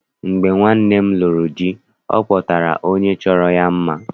Mgbe nwanne m lụrụ di, ọ kpọtara onye chọrọ ya mma.